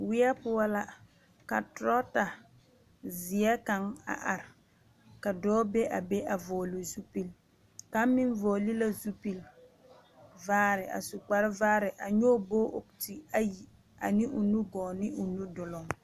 Weɛ poɔ la ka torɔta zeɛ kaŋ a are ka dɔɔ be a be a vɔgele zupili ka meŋ vɔgele la zupili vaare a su kpar vaare a nyɔge o nɔɔte ayi ane o nu gɔɔ ne o nu duluŋ